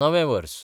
नवें वर्स